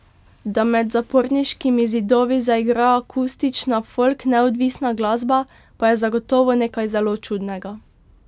Da med zaporniškimi zidovi zaigra akustična folk neodvisna glasba, je zagotovo nekaj zelo čudnega.